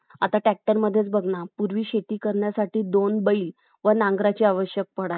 आता Tractor मध्येच बघ ना पूर्वी शेती करण्यासाठी दोन बैल व नांगराची आवश्यक पडायची